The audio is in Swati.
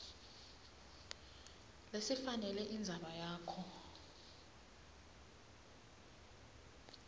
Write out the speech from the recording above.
lesifanele indzaba yakho